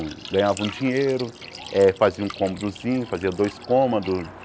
Ganhava um dinheiro, eh fazia um cômodozinho, fazia dois cômodos.